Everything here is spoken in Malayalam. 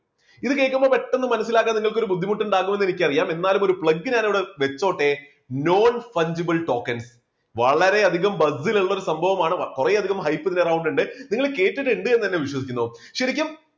ഇത് കേൾക്കുമ്പോൾ പെട്ടെന്ന് മനസ്സിലാക്കാൻ നിങ്ങൾക്ക് ഒരു ബുദ്ധിമുട്ടുണ്ടാകുമെന്ന് എനിക്കറിയാം. എന്നാലും ഒരു plug ഞാൻ ഇവിടെ വെച്ചോട്ടെ non punchable token വളരെയധികം buzil ലുള്ള ഒരു സംഭവമാണ് കുറെയധികം നിങ്ങൾ കേട്ടിട്ടുണ്ട് എന്ന് തന്നെ വിശ്വസിക്കുന്നു. ശരിക്കും